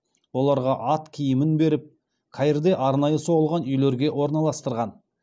оларға ат киімін беріп каирде арнайы соғылған үйлерге орналастырған